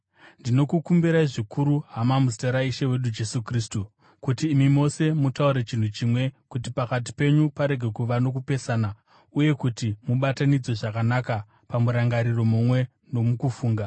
Ndinokukumbirai zvikuru, hama, muzita raIshe wedu Jesu Kristu, kuti imi mose mutaure chinhu chimwe, kuti pakati penyu parege kuva nokupesana uye kuti mubatanidzwe zvakanaka pamurangariro mumwe nomukufunga.